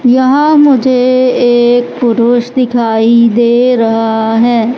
यहां मुझे एक पुरुष दिखाई दे रहा है।